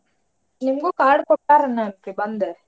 ನಿಮ್ಗೂ card ಕೊಟ್ಟಾರೆನ ಬಂದ್.